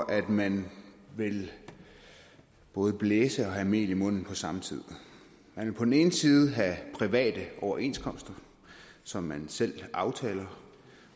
at man vil både blæse og have mel i munden på samme tid man vil på den ene side have private overenskomster som man selv aftaler